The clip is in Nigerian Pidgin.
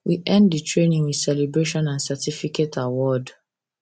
we end the training with celebration and certificate award